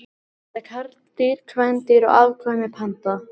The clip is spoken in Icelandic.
Hvað heita karldýr, kvendýr og afkvæmi panda?